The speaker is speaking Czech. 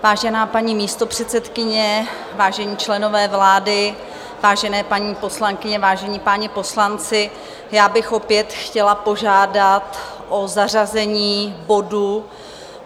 Vážená paní místopředsedkyně, vážení členové vlády, vážené paní poslankyně, vážení páni poslanci, já bych opět chtěla požádat o zařazení bodu